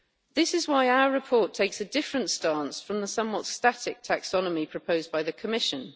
This is why our report takes a different stance from the somewhat static taxonomy proposed by the Commission.